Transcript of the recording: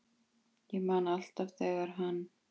Ég man alltaf þegar hann